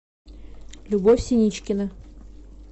любовь синичкина